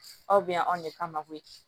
Aw bɛ yan anw de kama koyi